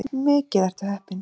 Mikið ertu heppinn.